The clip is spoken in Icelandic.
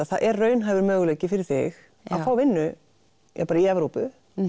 það er raunhæfur möguleiki fyrir þig að fá vinnu í Evrópu